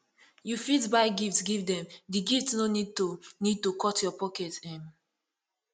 you fit buy gift give them di gift no need to need to cut your pocket um